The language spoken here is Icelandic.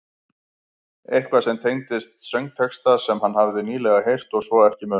Eitthvað sem tengdist söngtexta sem hann hafði nýlega heyrt og svo ekki munað.